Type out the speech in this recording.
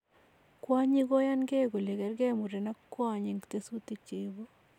Kwonyiik koyan kee kole kergee muren ak kwony eng' tesutik cheibu.